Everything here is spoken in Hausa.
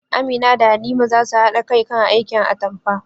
Amina da Halima za su haɗa kai kan aikin atampa